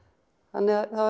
þannig að það